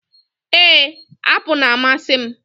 Ee, apụl na-amasị m.